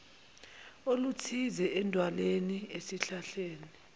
oluthize edwaleni esihlahleni